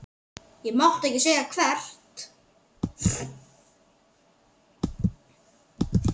Ég mátti ekki segja hvert.